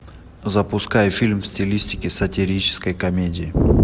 запускай фильм в стилистике сатирической комедии